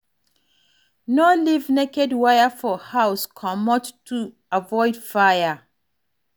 No leave naked wire for house comot to avoid fire